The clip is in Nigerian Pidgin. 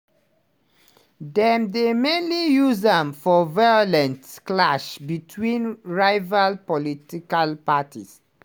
dem dey mainly use am for violent clash between rival political parties.